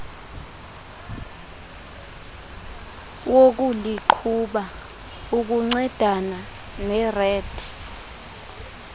wokuliqhuba ukuncedana nered